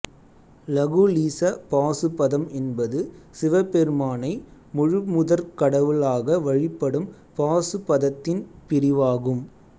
லகுலீச பாசுபதம் என்பது சிவபெருமானை முழுமுதற்கடவுளாக வழிபடும் பாசுபதத்தின் பிரிவாகும்